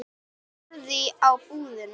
Hann horfði á búðina.